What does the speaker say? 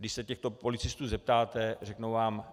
Když se těchto policistů zeptáte, řeknou vám: